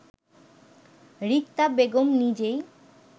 রিক্তা বেগম নিজেই